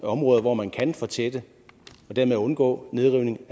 områder hvor man kan fortætte og dermed undgå nedrivning